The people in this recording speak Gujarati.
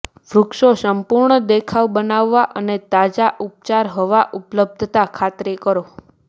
વૃક્ષો સંપૂર્ણ દેખાવ બનાવવા અને તાજા ઉપચાર હવા ઉપલબ્ધતા ખાતરી કરો